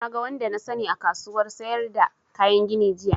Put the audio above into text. Na ga wani da na sani a kasuwan sayar da kayan gini jiya